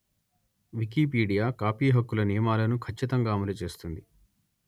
Wikipedia కాపీహక్కుల నియమాలను ఖచ్చితంగా అమలు చేస్తుంది